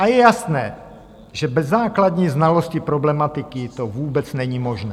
A je jasné, že bez základní znalosti problematiky to vůbec není možné.